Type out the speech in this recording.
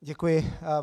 Děkuji.